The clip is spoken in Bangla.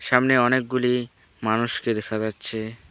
সামনে অনেকগুলি মানুষকে দেখা যাচ্ছে।